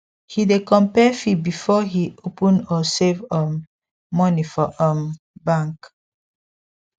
he dey compare fee before he open or save um money for um bank